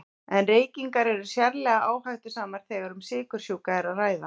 En reykingar eru sérlega áhættusamar þegar um sykursjúka er að ræða.